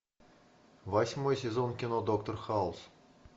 восьмой сезон кино доктор хаус